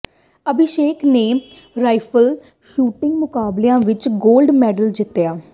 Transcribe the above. ਅਭਿਸ਼ੇਕ ਨੇ rifle shooting ਮੁਕਾਬਲਿਆਂ ਵਿਚ ਗੋਲਡ ਮੈਡਲ ਜਿੱਤਿਆ